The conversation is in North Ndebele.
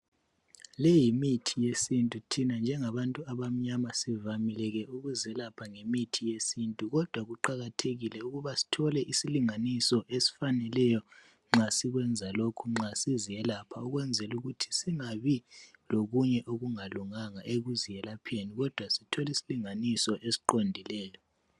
Leyimithi yesintu, thina njengabantu abamnyama sivamile ke ukuzelapha ngemithi yesintu kodwa kuqakathekile ukuba sithole isilinganiso esifaneleyo nxa sikwenza lokhu nxa siziyelapha ukwenzela ukuthi singabi lokunye okungalunganga ukuziyelapheni kodwa sithole isilinganiso esiqondileyo.